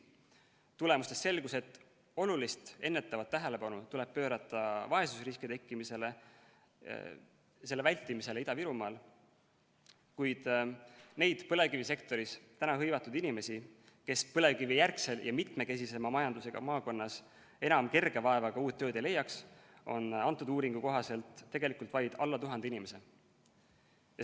Tulemustest selgus, et olulist ennetavat tähelepanu tuleb pöörata vaesusriski tekkimisele, selle vältimisele Ida-Virumaal, kuid neid põlevkivisektoris hõivatud inimesi, kes põlevkivijärgsel ja mitmekesisema majandusega maakonnas enam kerge vaevaga uut tööd ei leiaks, on kõnealuse uuringu kohaselt tegelikult vaid alla tuhande.